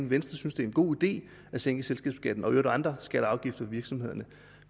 venstre synes det er en god idé at sænke selskabsskatten og også andre skatter og afgifter for virksomhederne